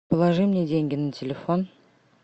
положи мне деньги на телефон